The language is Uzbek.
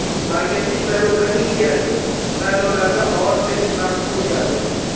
Markaziy saylov komissiyasi: Saylovlarda ovoz berish vaqti o‘zgardi.